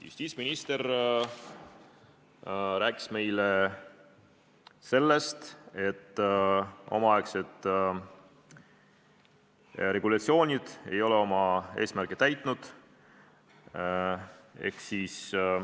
Justiitsminister rääkis meile sellest, et omaaegsed regulatsioonid ei ole oma eesmärki täitnud.